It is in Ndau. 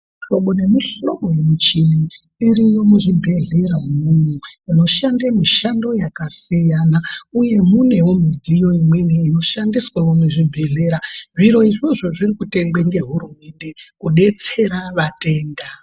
Mihlobo nemuhlobo yemichini iriyo muzvibhedhlera umwomwo inoshande mishando yakasiyana uye munewo midziyo imweni inoshandiswewo muzvibhedhlera. Zviro izvozvo zvirikutengwe ngehurumende kudetsera vatenda.